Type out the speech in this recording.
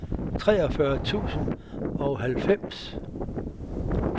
treogfyrre tusind og halvfems